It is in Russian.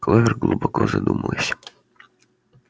кловер глубоко задумалась